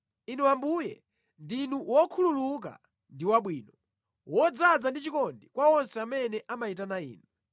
Inu Ambuye, ndinu wokhululuka ndi wabwino, wodzaza ndi chikondi kwa onse amene amayitana Inu.